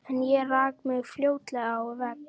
En ég rak mig fljótlega á vegg.